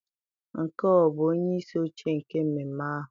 Nke a ọ bụ onyeisi oche nke mmemme ahụ?